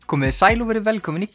komiði sæl og verið velkomin í